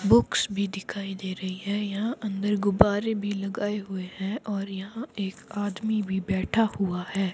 Books भी दिखाई दे रही है यहां अंदर गुब्बारे भी लगाए हुए हैं और यहां एक आदमी भी बैठा हुआ है।